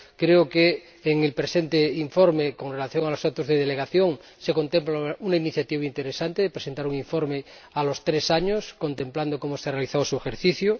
Creo que en el presente informe, con relación a los actos de delegación, se contempla una iniciativa interesante la presentación de un informe a los tres años que evalúe cómo se ha realizado su ejercicio